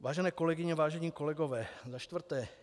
Vážené kolegyně, vážení kolegové, za čtvrté.